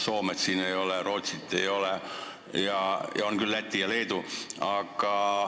Soomet ega Rootsit siin ei ole, küll aga on Läti ja Leedu.